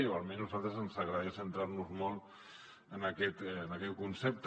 o almenys a nosaltres ens agradaria centrar nos molt en aquest concepte